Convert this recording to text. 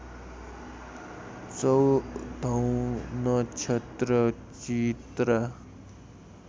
चौधौँ नक्षत्र चित्रा